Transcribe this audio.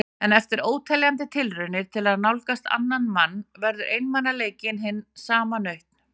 En eftir óteljandi tilraunir til að nálgast annan mann verður einmanaleikinn hin sanna nautn.